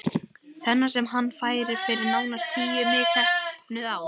Þennan sem hann fær fyrir nánast níu misheppnuð ár?